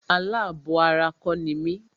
Alábọ̀ ara kọ́ ni mí.